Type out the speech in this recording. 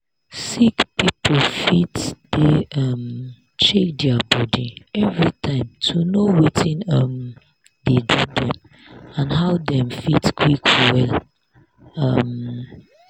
sick people fit dey um check their body everytime to know watin um dey do dem and how dem fit quick well. um